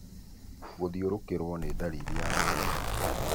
Gũthiũrũkĩrũo nĩ ndariri ĩmwe ya malaria.